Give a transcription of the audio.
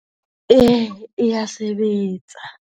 E, e ya sebetsa.